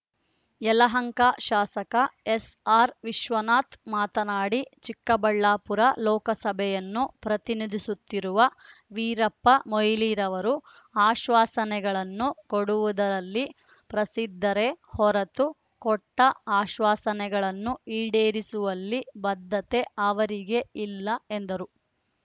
ಯಲಹಂಕ ಶಾಸಕ ಎಸ್ಆರ್ ವಿಶ್ವನಾಥ್ ಮಾತನಾಡಿ ಚಿಕ್ಕಬಳ್ಳಾಪುರ ಲೋಕಸಭೆಯನ್ನು ಪ್ರತಿನಿಧಿಸುತ್ತಿರುವ ವೀರಪ್ಪ ಮೊಯ್ಲಿರವರು ಆಶ್ವಾಸನೆಗಳನ್ನು ಕೊಡುವುದರಲ್ಲಿ ಪ್ರಸಿದ್ಧರೇ ಹೊರತು ಕೊಟ್ಟ ಆಶ್ವಾಸನೆಗಳನ್ನು ಈಡೇರಿಸುವಲ್ಲಿ ಬದ್ಧತೆ ಅವರಿಗೆಯಿಲ್ಲ ಎಂದರು